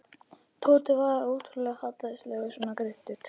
Tóti var ótrúlega hallærislegur svona greiddur.